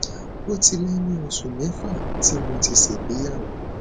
ó ti lé ní oṣù mẹfà tí mo ti ṣègbéyàwó